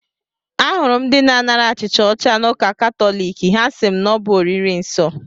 Ahụrụ m ndị na-anara achịcha ọcha n'ụka katọlik, ha asị m na ọ bụ oriri nsọ